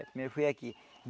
Primeiro foi aqui.